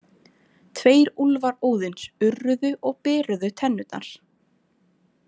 Tveir úlfar Óðins urruðu og beruðu tennurnar.